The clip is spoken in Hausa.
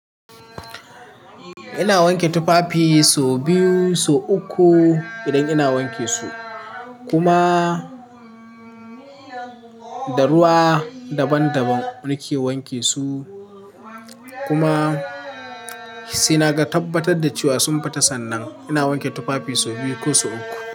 Ina wanke tufafi so biyu, so uku idan ina wanke su. Kuma da ruwa daban daban nake wanke su. Kuma sai naga tabbatar da cewa sun fita sannan. Ina wanke tufafi so biyu ko so uku.